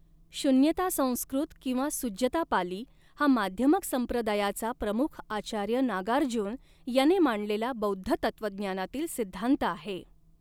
शून्यता संस्कृत किंवा सुज्जता पाली हा माध्यमक संप्रदायाचा प्रमुख आचार्य नागार्जुन याने मांडलेला बौद्ध तत्त्वज्ञानातील सिद्धान्त आहे.